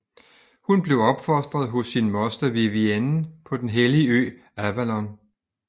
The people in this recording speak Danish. Hun blev opfostet hos sin moster Vivienne på den hellige ø Avalon